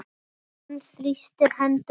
Hann þrýstir hendur hennar.